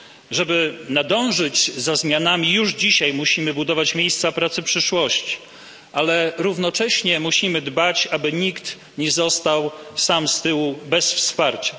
Żeby nadążyć za zmianami, już dzisiaj musimy budować miejsca pracy przyszłości, ale równocześnie musimy dbać, aby nikt nie został sam z tyłu, bez wsparcia.